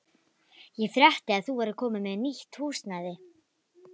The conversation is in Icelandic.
Ég frétti að þú værir komin með nýtt húsnæði.